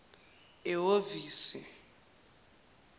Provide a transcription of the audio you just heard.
ehovisi